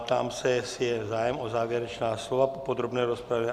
Ptám se, jestli je zájem o závěrečná slova po podrobné rozpravě.